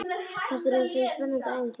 Þetta er eins og í spennandi ævintýri.